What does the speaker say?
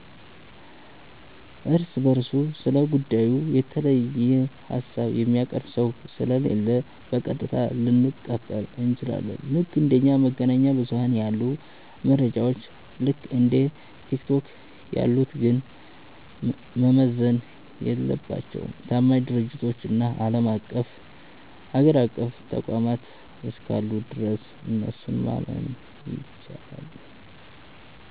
እርስ በርሱ ስለ ጉዳዩ የተለየ ሃሳብ የሚያቀርብ ሰው ስለሌለ፣ በቀጥታ ልንቀበል እንችላለን። ልክ እንደ መገናኛ ብዙኃን ያሉ መረጃዎች፣ ልክ እንደ ቲክቶክ ያሉት ግን መመዘን የለባቸውም። ታማኝ ድርጅቶችና አገር አቀፍ ተቋማት እስካሉ ድረስ እነሱን ማመን ይቻላል።